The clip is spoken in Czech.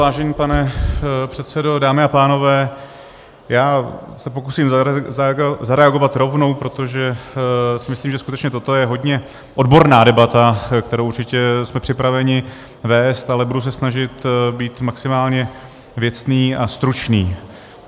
Vážený pane předsedo, dámy a pánové, já se pokusím zareagovat rovnou, protože si myslím, že skutečně toto je hodně odborná debata, kterou určitě jsme připraveni vést, ale budu se snažit být maximálně věcný a stručný.